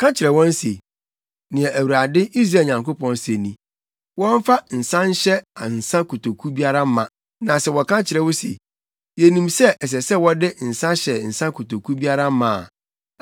“Ka kyerɛ wɔn se, ‘Nea Awurade, Israel Nyankopɔn se ni, Wɔmfa nsa nhyɛ nsa kotoku biara ma.’ Na sɛ wɔka kyerɛ wo se, ‘Yenim sɛ ɛsɛ sɛ wɔde nsa hyɛ nsa kotoku biara ma a,’